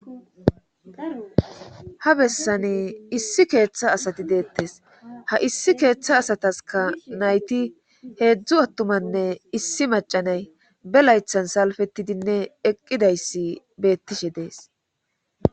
ha bessani issi keeththa asati deettes ha issi keeththa asataska nayti heedzdzu attumanne issi macanay be laythan salfetidinne eqqidayssi beettishe dees